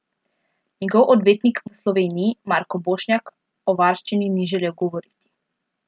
Njegov odvetnik v Sloveniji Marko Bošnjak o varščini ni želel govoriti.